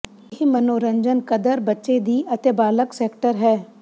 ਇਹ ਮਨੋਰੰਜਨ ਕਦਰ ਬੱਚੇ ਦੀ ਅਤੇ ਬਾਲਗ ਸੈਕਟਰ ਹੈ